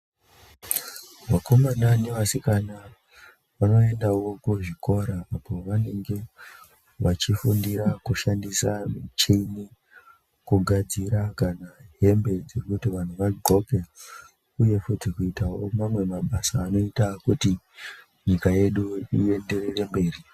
Vakomana nevasikana vanoendawo kuzvikora apo vanenge vachifundira kushandisa michini kugadzira kana hembe dzekuti vanhu vadloke uye futi kuitawo mamwe mabasa anoita kuti nyika yedu ienderere mberi.